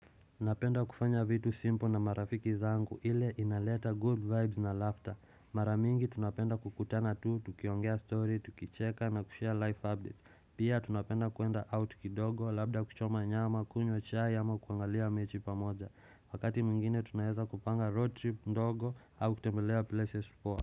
Napenda kufanya vitu simple na marafiki zangu ile inaleta good vibes na laughter. Mara mingi tunapenda kukutana tu, tukiongea story, tukicheka na kushare life updates. Pia tunapenda kuenda out kidogo, labda kuchoma nyama, kunywa chai ama kuangalia mechi pamoja Wakati mwingine tunaweza kupanga road trip ndogo au kutembelea places poa.